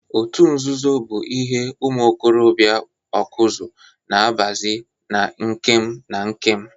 Otu nzuzo bụ ihe ụmụ okorobịa Ọkụzụ na abazi na ikem na ikem.